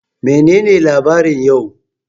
Menene labarin yau?